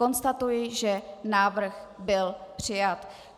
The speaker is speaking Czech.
Konstatuji, že návrh byl přijat.